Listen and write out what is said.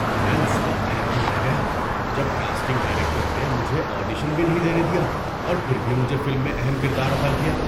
میں اس وقت حیران رہ گیا جب کاسٹنگ ڈائریکٹر نے مجھے آڈیشن بھی نہیں دینے دیا اور پھر بھی مجھے فلم میں اہم کردار عطاء کیا۔